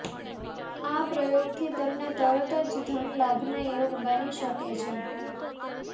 આ પ્રયોગથી તમને તરત જ ધનલાભના યોગ બની શકે છે